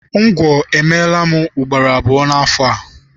Ngwọ emeela m ugboro abụọ n'afọ a.